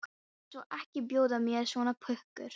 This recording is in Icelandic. Ég léti sko ekki bjóða mér svona pukur.